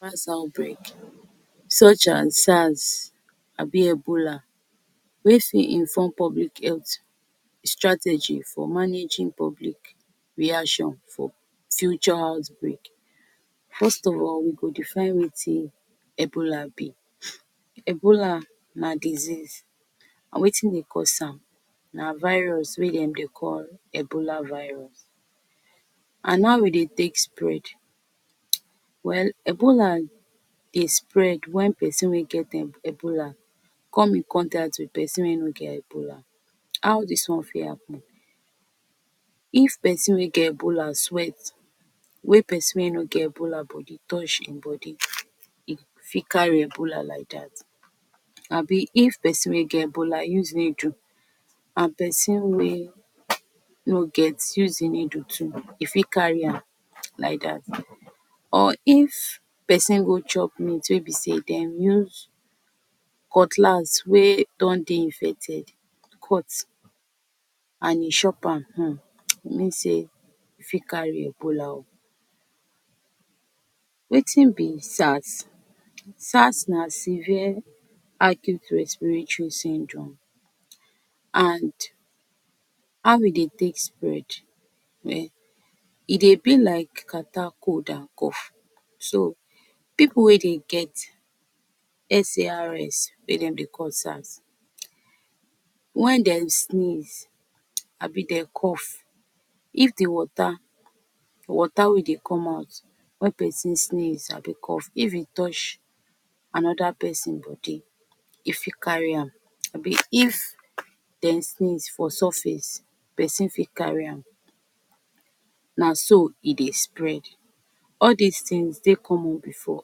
that outbreak such as SARS abi Ebola wey fit inform public health strategy for managing public reaction for futures house break first of all we go defin wetin Ebola be Ebola na disease we na e cosam na virus wey dem dey call ebola virus and how e dey take spread well ebola dey spread when person wey get dem Ebola come with contact with person wey no get Ebola, how dis one fit happen if person wey no get Ebola sweat wey person no get Ebola bodi touch him body e fit carry Ebola like that, abi if person wey get Ebola use needle and person wey no get use em needle too de person fit carry am like that or if person go chop meat wey be say dem use cutlass wey don dey infected cut and e shop am um e mean sey e fi carry Ebola wetin be SARS SARS na severe acute respiratory syndrome and how we dey take spread e dey be like catarrh cold and cough so pipu wey dem get SARS wey dem dey call SARS wen dem sneeze abi dey cough if de water, water we dey come out wen person sneeze i be cough if he touch anoder person go dey e if carry am abi if den sneeze for surface person fit carry am na so e dey spread all dese things dey common before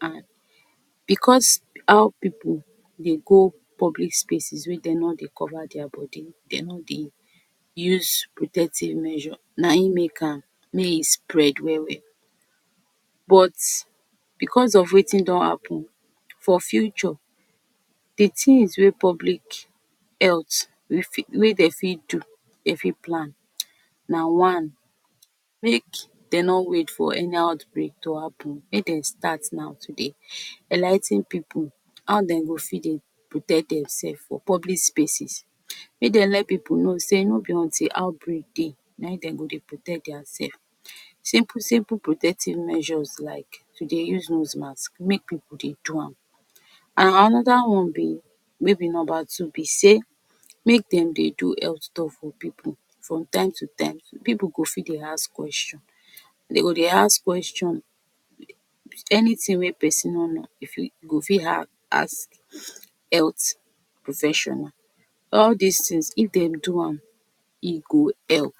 and because our pipu dey go public spaces wey dem no dey cover deir body dey no dey use protective measure na him make am may him spread well well but because of wetin don happen for future de things wey public health wey dem fit do dey fit plan na one make dem no wait for any outbreak to happen make dem start now to dey eligh ten pipu how dem go fit dey protect demselves for public spaces make dem let pipu on sey no be until outbreak dey na him go dey protect deir self simple, simple protective measures like you dey use nose mask make pipu dey do am and anoder one be maybe number two be sey make dem dey do health talk for pipu from time to time pipu go fit dey ask questions dem go dey ask questions anything wey person no know e go fit ask health professional all dese things if dem do am e go help.